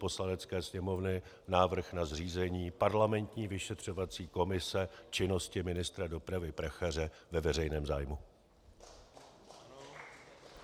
Poslanecké sněmovny návrh na zřízení parlamentní vyšetřovací komise činnosti ministra dopravy Prachaře ve veřejném zájmu.